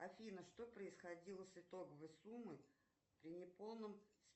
афина что происходило с итоговой суммой при неполном